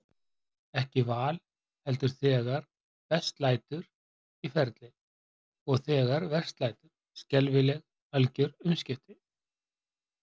Ekki val, heldur- þegar best lætur- ferli, og, þegar verst lætur, skelfileg, algjör umskipti.